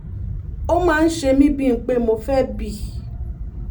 ó máa ń ṣe mí bíi ń pé mo fẹ́ bì